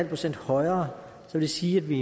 procent højere vil det sige at vi